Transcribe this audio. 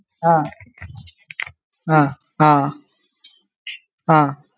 ആ ആഹ് ആഹ് ആഹ്